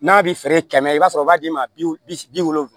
N'a bɛ feere kɛmɛ i b'a sɔrɔ u b'a d'i ma bi wolonwula